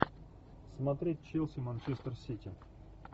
смотреть челси манчестер сити